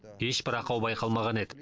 ешбір ақау байқалмаған еді